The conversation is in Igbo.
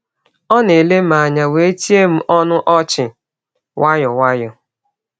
Ọ na-ele m anya wee tie m ọnụ ọchị nwayọọ nwayọọ.